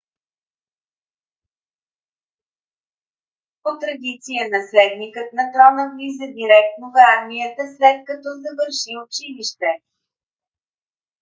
по-традиция наследникът на трона влиза директно в армията след като завърши училище